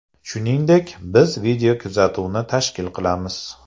Shuningdek, biz videokuzatuvni tashkil qilamiz.